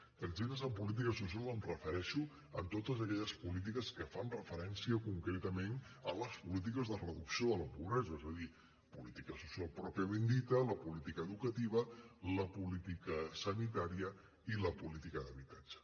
amb tretzena en polítiques socials em refereixo a totes aquelles polítiques que fan referència concretament a les polítiques de reducció de la pobresa és a dir política social pròpiament dita la política educativa la política sanitària i la política d’habitatge